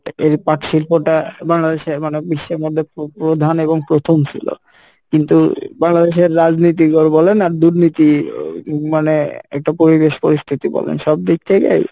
এর পাট শিল্পটা বাংলাদেশে বিশ্বের মধ্যে প্র~প্রধান এবং প্রথম সিলো কিন্তু বাংলাদেশের রাজনীতি বলেন আর দুর্নীতি মানে একটা পরিবেশ পরিস্থিতি বলেন সব দিক থেকেই,